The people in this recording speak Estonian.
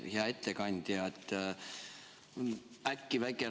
Hea ettekandja!